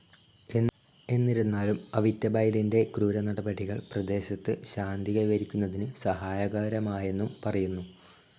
എന്നിരുന്നാലും അവിറ്റബൈലിന്റെ ക്രൂരനടപടികൾ പ്രദേശത്ത് ശാന്തി കൈവരിക്കുന്നതിന് സഹായകരമായെന്നും പറയുന്നു.